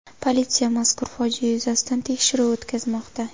Politsiya mazkur fojia yuzasidan tekshiruv o‘tkazmoqda.